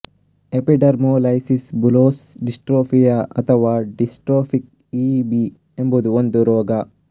epidermolysis bullosa ಡಿಸ್ಟ್ರೋಫಿಯ ಅಥವಾ dystrophic E B ಎಂಬುದು ಒಂದು ರೋಗ